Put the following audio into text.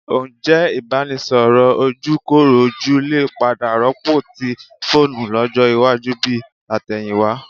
Ǹjẹ́ ìbánisọ̀rọ̀ ojúkorojú lè padà rọ́pò ti fóònù lọ́jọ́ iwájú bi tàtẹ̀yìnwá?